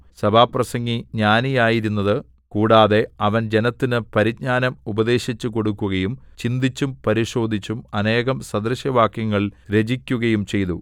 സഭാപ്രസംഗി ജ്ഞാനിയായിരുന്നതു കൂടാതെ അവൻ ജനത്തിന് പരിജ്ഞാനം ഉപദേശിച്ചുകൊടുക്കുകയും ചിന്തിച്ചും പരിശോധിച്ചും അനേകം സദൃശവാക്യങ്ങൾ രചിക്കുകയും ചെയ്തു